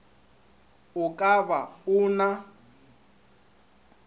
o ka ba o na